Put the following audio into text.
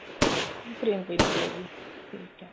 ਹਮ frame ਚੋ ਹੀ ਨਿਕਲੇਗੀ ਠੀਕ ਐ